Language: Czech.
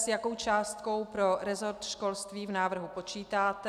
S jakou částkou pro resort školství v návrhu počítáte?